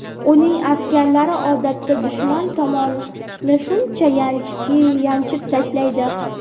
Uning askarlari odatda dushman tomonni shunchaki yanchib tashlaydi.